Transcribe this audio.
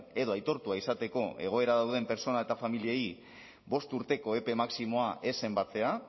edo aitortua izateko egoera dauden pertsona eta familiei bost urteko epe maximoa ez zenbatzea